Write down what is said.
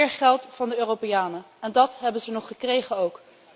Meer geld van de Europeanen en dat hebben ze nog gekregen ook.